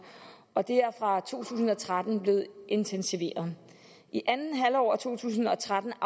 og det er fra to tusind og tretten blevet intensiveret i andet halvår af to tusind og tretten